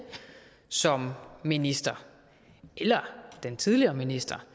som minister eller den tidligere minister